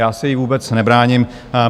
Já se jí vůbec nebráním.